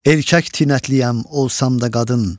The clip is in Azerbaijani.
Erkək tinətliyəm olsam da qadın.